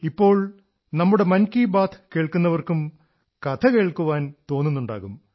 ഇപ്പോൾ നമ്മുടെ മൻ കീ ബാത് കേൾക്കുന്നവർക്കും കഥ കേൾക്കാൻ തോന്നുന്നുണ്ടാകും